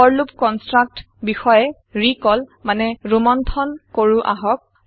forলুপ construct বিষয়ে recall মানে ৰোমন্থন কৰো আহক